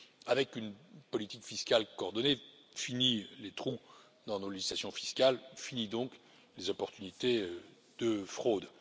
Avec une politique fiscale coordonnée, finis les trous dans nos législations fiscales et finies, donc, les opportunités de fraude.